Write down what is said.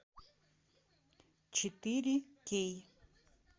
четыре кей